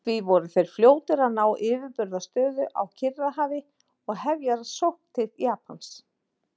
Því voru þeir fljótir að ná yfirburðastöðu á Kyrrahafi og hefja sókn til Japans.